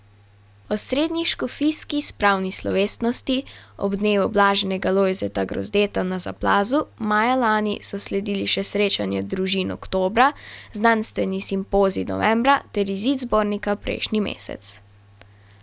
Osrednji škofijski spravni slovesnosti ob dnevu blaženega Lojzeta Grozdeta na Zaplazu maja lani so sledili še srečanje družin oktobra, znanstveni simpozij novembra ter izid zbornika prejšnji mesec.